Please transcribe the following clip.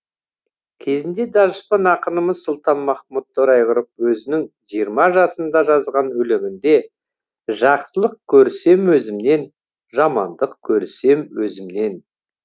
кезінде данышпан ақынымыз сұлтанмахмұт торайғыров өзінің жиырма жасында жазған өлеңінде жақсылық көрсем өзімнен жамандық көрсем өзімнен